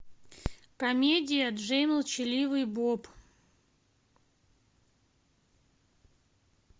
комедия джей и молчаливый боб